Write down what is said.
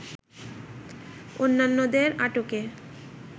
অন্যান্যদের আটকে